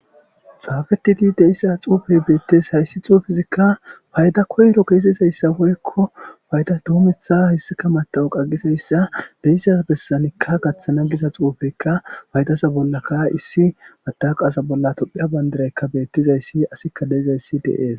Xaafetidi deissa xuufey beettes hayssi xuufizikka payda koyro keesizayssa woykko bayda duumetha hissika mata'u qagizayssa beyisa bessanikka gaththana giza xuufeykka baydasa bollakka issi matauqaasa bolla tophiya bandiraykka beettizayssi asikka deizayssi deees.